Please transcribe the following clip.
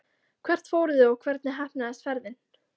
Hvert fóruð þið og hvernig heppnaðist ferðin?